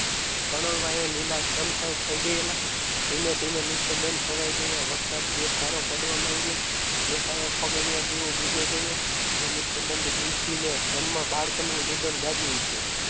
પરણું લીલાછમ થઈ ગયેલા ધીમે ધીમે નિસ્તબંધ છવાઈ ગયા વરસાદ એકધારો પડવા માંડ્યો એકાએક પગની આ દીવો બુજાઈ ગયો. તે નિષ્ઠ બંધ નિધિને જન્મ બાળકોનું રુદન રાજીવ ઉઠવું.